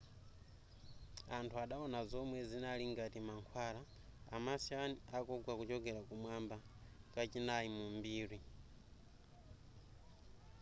anthu adawona zomwe zinali ngati mankhwala a martian akugwa kuchokera kumwamba kachinayi mu mbiri